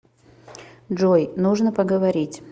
джой нужно поговорить